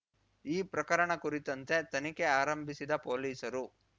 ಈ ಪ್ರಕರಣ ಕುರಿತಂತೆ ತನಿಖೆ ಆರಂಭಿಸಿದ ಪೊಲೀಸರು